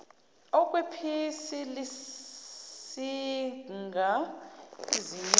okwephisi lisinga izinyosi